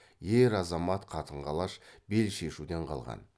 ер азамат қатын қалаш бел шешуден қалған